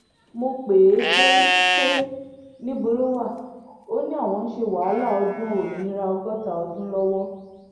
mo pè é pé pé níbo lo wà ò ní àwọn ń ṣe wàhálà ọdún òmìnira ọgọ́ta ọdún lọ́wọ́